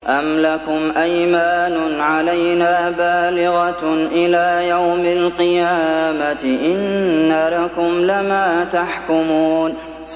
أَمْ لَكُمْ أَيْمَانٌ عَلَيْنَا بَالِغَةٌ إِلَىٰ يَوْمِ الْقِيَامَةِ ۙ إِنَّ لَكُمْ لَمَا تَحْكُمُونَ